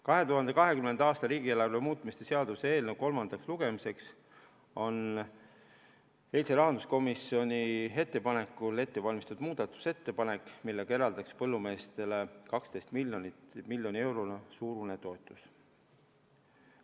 2020. aasta riigieelarve muutmise seaduse eelnõu kolmandaks lugemiseks valmistati eile rahanduskomisjoni ettepanekul ette muudatusettepanek, millega eraldatakse põllumeestele 12 miljoni euro suurune toetus.